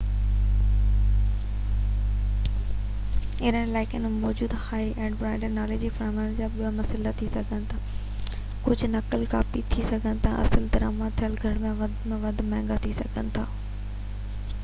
اهڙن علائقن ۾ موجود هائي-اينڊ برانڊ نالن واري فريمز جا ٻه مسئلا ٿي سگهن ٿا ڪجهه نقل ڪاپي ٿي سگهن ٿا ۽ اصل درآمد ٿيل گهر کان وڌيڪ گهر کان مهانگا ٿي سگهن ٿا